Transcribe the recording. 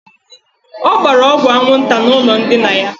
Ọ gbara ọgwụ anwụnta n' ụlọ ndina ya.